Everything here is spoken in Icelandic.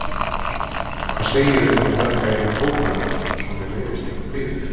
Hvað segirðu um að drekka eina kók með mér svo mér leiðist ekki biðin?